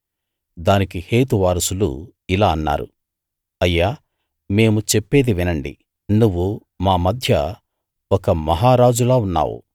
దానికి హేతు వారసులు ఇలా అన్నారు అయ్యా మేము చెప్పేది వినండి నువ్వు మా మధ్య ఒక మహారాజులా ఉన్నావు